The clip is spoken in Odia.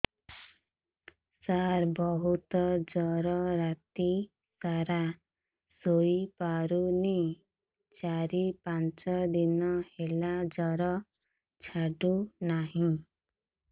ସାର ବହୁତ ଜର ରାତି ସାରା ଶୋଇପାରୁନି ଚାରି ପାଞ୍ଚ ଦିନ ହେଲା ଜର ଛାଡ଼ୁ ନାହିଁ